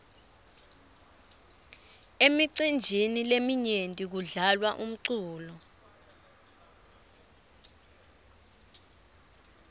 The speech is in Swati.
emicinjini leminyenti kudlalwa umculo